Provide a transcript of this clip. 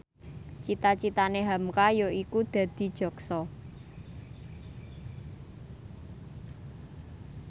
cita citane hamka yaiku dadi jaksa